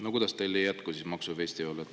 No kuidas teil ei jätku maksufestival?